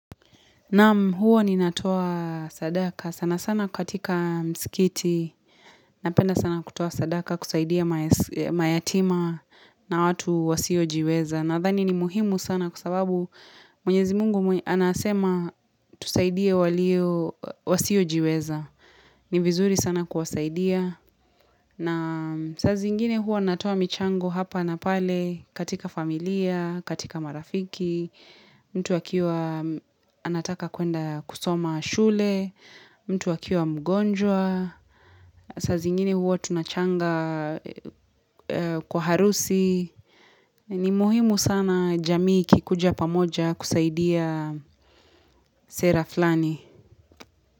Naam huwa ninatowa sadaka. Sana sana katika msikiti. Napenda sana kutoa sadaka kusaidia mayatima na watu wasiojiweza. Nadhani ni muhimu sana kwa sababu mwenyezi mungu anasema tusaidie wasiojiweza. Ni vizuri sana kuwasaidia, na saa zingine hua natoa michango hapa na pale katika familia, katika marafiki, mtu akiwa anataka kuenda kusoma shule, mtu akiwa mgonjwa, saa zingine huwa tunachanga kwa harusi, ni muhimu sana jamii ikikuja pamoja kusaidia sera flani.